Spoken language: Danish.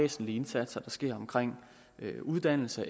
væsentlige indsatser der sker omkring uddannelse